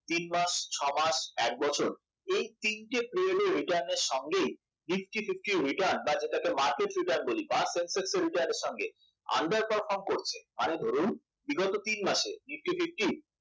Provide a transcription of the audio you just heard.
তিন মাস ছয় মাস এক বছর এই তিনটি period এর return এর সঙ্গে nifty fifty return বা যেটাকে market return বলি বা সঙ্গে under perform করছে মানে ধরুন বিগত তিন মাসে nifty fifty